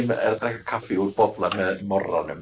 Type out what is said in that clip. að drekka kaffi úr bolla með